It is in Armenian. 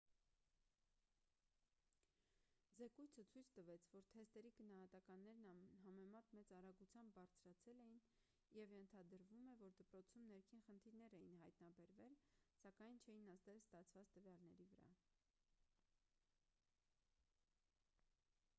զեկույցը ցույց տվեց որ թեստերի գնահատականներն անհամեմատ մեծ արագությամբ բարձրացել էին և ենթադրվում է որ դպրոցում ներքին խնդիրներ էին հայտնաբերվել սակայն չէին ազդել ստացված տվյալների վրա